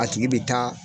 A tigi bɛ taa